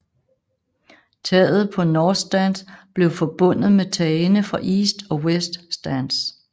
Taget på North Stand blev forbundet med tagene fra East og West stands